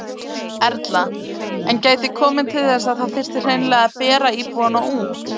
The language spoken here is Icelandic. Erla: En gæti komið til þess að það þyrfti hreinlega að bera íbúana út?